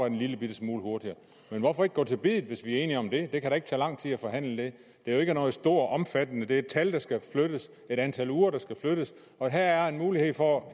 en lillebitte smule hurtigere men hvorfor ikke gå til biddet hvis vi er enige om det det kan da ikke tage lang tid at forhandle det det er jo ikke noget stort og omfattende det er et tal der skal flyttes et antal uger der skal flyttes og her er mulighed for at